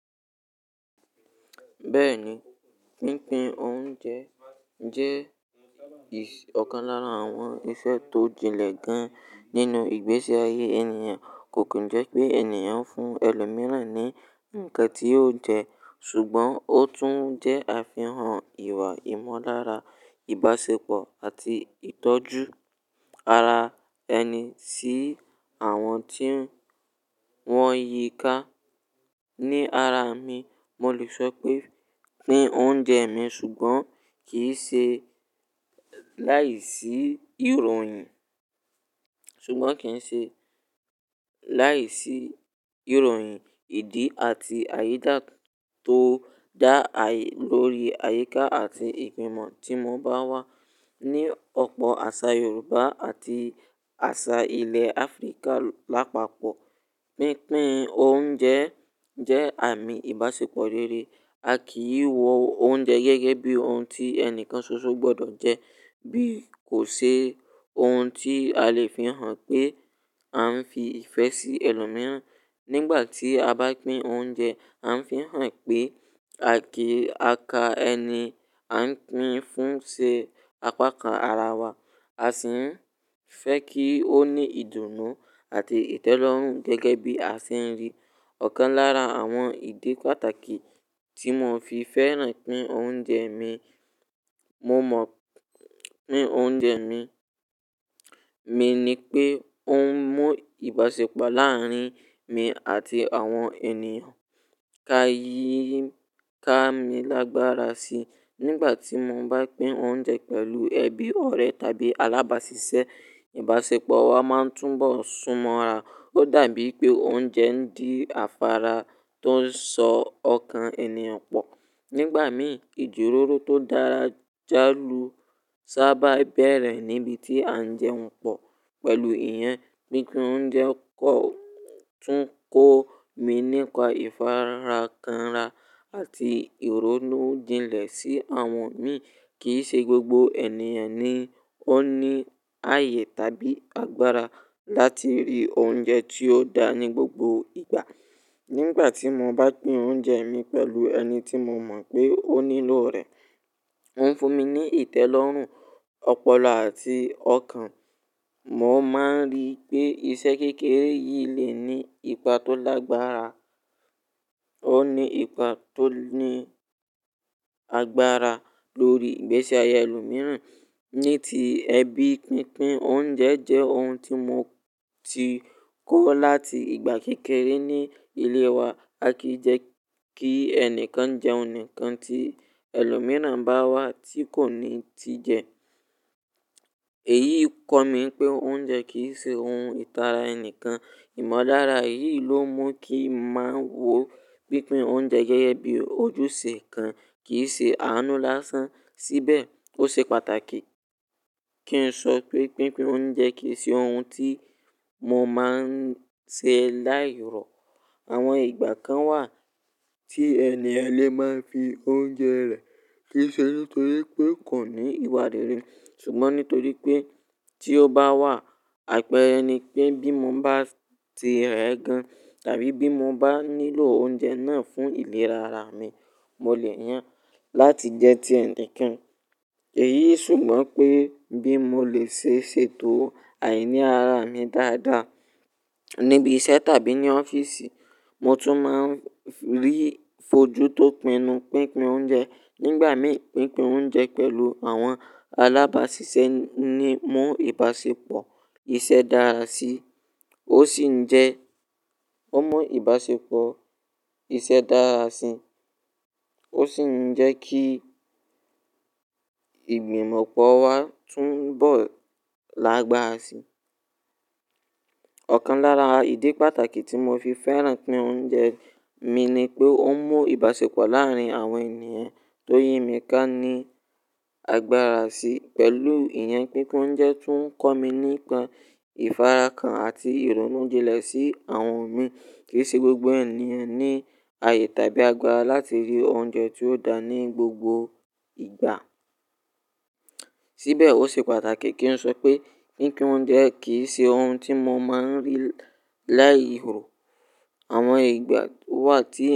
Bẹ́ẹ̀ni, pínpín oúnjẹ jẹ́ ì-- ọ̀kan lára àwọn iṣẹ́ tó jinlẹ̀ gan nínú ìgbésí ayé ènìyàn. Kò kí n jẹ́ pé ènìyàn ń fún ẹlòmíràn ní ǹkan tí ó jẹ ṣùgbọ́n ó tún jẹ́ àfihàn ìwà ìmọ̀lára, ìbáṣepọ̀ àti ìtọ́jú ara ẹni sí àwọn tí wọ́n ń yíká. Ni ara mi, mo lè sọ pé pín oúnjẹ mi ṣùgbọ́n kì í ṣe láìsí ìròyìn, ṣùgbọ́n kì í ṣe láìsí ìròyìn ìdí àti àyídá tó dá ààyè lórí àyíká àti ìgbìmọ̀ tí mo bá wà. Ni ọ̀pọ̀ àṣà Yorùbá àti àṣà ilẹ̀ Áfíríkà lápapọ̀, pínpín oúnjẹ jẹ́ àmì ìbáṣepọ̀ rere. A kì í wọ oúnjẹ gẹ́gẹ́ bí ohun tí ẹni kan ṣoṣo gbọdọ̀ jẹ, bí kò ṣe ohun tí a lè fi hàn pé a ń fi ìfẹ́ sí ẹlòmíràn. Nígbà tí a bá pín oúnjẹ, a ń fi hàn pé àkì à ká ẹni a ń pín fún ṣe apákan ara wa, a sì ń fẹ́ kí ó ní ìdùnnú àti ìtẹ́lọ́rùn gẹ́gẹ́ bí a ṣe ń rí. Ọ̀kan lára àwọn ìdí pàtàkì tí mo fi fẹ́ràn pín oúnjẹ mi, mo mọ̀ pín oúnjẹ mi mi ni pé ó ń mú ìbáṣepọ̀ láàárín mi àti àwọn ènìyàn ká yíì ká mi lágbára sí. Nígbà tí mo bá pín oúnjẹ pẹ̀lú ẹbí, ọ̀rẹ́ tàbí alábáṣiṣẹ́, ìbáṣepọ̀ wa máa ń túnbọ̀ súnmọ́ra. Ó dàbí pé oúnjẹ ń di afára tó ń sọ ọkàn ènìyàn pọ̀. Nígbà mìí, ìjírọ̀rọ̀ tó dára jálù sábà bẹ̀rẹ̀ níbi tí à ń jẹun pọ̀ pẹ̀lú ìyẹn. Pínpín oúnjẹ kọ̀ tún kọ́ mi nípa ìfarakanra àti ìrónú jinlẹ̀ sí àwọn mi. Kì í ṣe gbogbo ènìyàn ni ó ní ààyè tàbí agbára láti rí oúnjẹ tí ó dáa ní gbogbo ìgbà. Nígbà tí mo bá pín oúnjẹ mi pẹ̀lú ẹni tí mo mọ̀ pé ó nílò rẹ̀, ó ń fún mi ní ìtẹ́lọ́rùn, ọpọlọ àti ọkàn. Mo máa ń rí i pé iṣẹ́ kékeré yìí lè ní ipa tó lágbára, ó ní ipa tó ní agbára lórí ìgbésí ayé ẹlòmíràn. Ní ti ẹbí, pínpín oúnjẹ jẹ́ ohun tí mo ti kọ́ láti ìgbà kékeré ní ilé wa. A kì í jẹ́ kí ẹnìkan jẹ́un nikan tí ẹlòmíràn bá wá tí kò ní ti jẹ. Èyí kọ́ mi pé oúnjẹ kì í ṣe ohun ìtara ẹni kan. Ìmọ̀ lára eyìí ló mú kí ń má wò pínpín oúnjẹ gẹ́gẹ́ bí ojúṣe kan, kì í ṣe àánú lásán. Síbẹ̀, ó ṣe pàtàkì kí n sọ pé pínpín oúnjẹ kì í ṣe ohun tí mo máa ń ṣe láì rọ. Àwọn ìgbà kan wà tí ènìyàn lè má fi oúnjẹ rẹ̀ kisẹ́ nítorí pé kò ní ìwà rere. Ṣùgbọ́n nítorí pé tí ó bá wà, àpẹẹrẹ ni pé bí mo bá ti rẹ̀ ẹ́ gan tàbí bí mo bá nílò oúnjẹ náà fún ìlera ara mi, mo lè yàn láti jẹ́ tí ẹnìkan. Èyí ṣùgbọ́n pé bí mo lè ṣe ṣètò àìní ara mi dáadáa níbi iṣẹ́ tàbí ní ọ́fíìsì, mo tún máa ń rí ìfojú tó pinu pínpín oúnjẹ. Nígbà mìí, pínpín oúnjẹ pẹ̀lú àwọn alábáṣiṣẹ́ ni mú ìbáṣepọ̀ iṣẹ́ dára sí. Ó sì ń jẹ́, ó mú ìbáṣepọ̀ iṣẹ́ dára si, ó sì ń jẹ́ kí ìgbìmọ̀pọ̀ wa tún bọ̀ lágbára sí. Ọ̀kan lára ìdí pàtàkì tí mo fi fẹ́ràn pín oúnjẹ mi ni pé ó ń mú ìbáṣepọ̀ láàárín àwọn ènìyàn tó yí mi ká ní agbára sí. Pẹ̀lú ìyẹn, pínpín oúnjẹ tún ń kọ́ mi nípa ìfarakan àti ìrónú jinlẹ̀ sí àwọn mi. Kì í ṣe gbogbo ènìyàn ni ní ààyè tàbí agbára láti rí oúnjẹ tí ó dáa ní gbogbo ìgbà. Síbẹ̀, ó ṣe pàtàkì kí n sọ pé pínpín oúnjẹ kì í ṣe ohun tí mo máa ń rí láì rọ. Àwọn ìgbà wà tí ènìyàn.